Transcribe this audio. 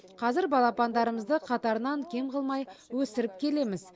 қазір балапандарымызды қатарынан кем қылмай өсіріп келеміз